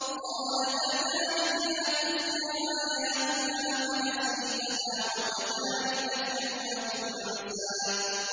قَالَ كَذَٰلِكَ أَتَتْكَ آيَاتُنَا فَنَسِيتَهَا ۖ وَكَذَٰلِكَ الْيَوْمَ تُنسَىٰ